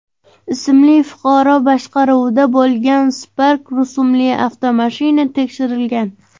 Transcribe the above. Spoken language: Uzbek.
ismli fuqaro boshqaruvida bo‘lgan Spark rusumli avtomashina tekshirilgan.